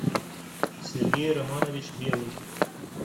сергей романович белый